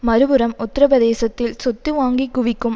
மறுபுறம் உத்திர பிரதேசத்தில் சொத்து வாங்கி குவிக்கும்